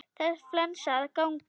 Það er flensa að ganga.